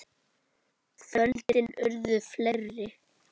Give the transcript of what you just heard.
Kvöldin urðu fleiri.